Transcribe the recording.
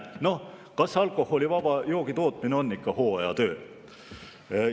No kas alkoholivaba joogi tootmine on ikka hooajatöö?